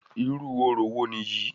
Irú orò wo nìyí?